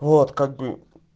вот как бы